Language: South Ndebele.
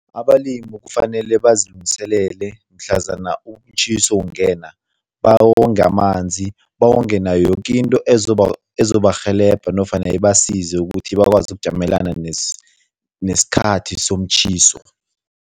Abalimi kufanele bazilungiselele mhlazana umtjhiso ungena, bawonge amanzi, bawonge nayo yoke into ezobarhelebha nofana ibasize ukuthi bakwazi ukujamelana nesikhathi somtjhiso.